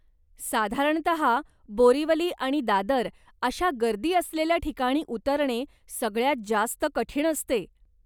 साधारणतः, बोरीवली आणि दादर अशा गर्दी असलेल्या ठिकाणी उतरणे सगळ्यात जास्त कठीण असते.